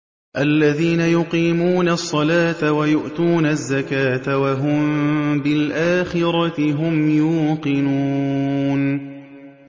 الَّذِينَ يُقِيمُونَ الصَّلَاةَ وَيُؤْتُونَ الزَّكَاةَ وَهُم بِالْآخِرَةِ هُمْ يُوقِنُونَ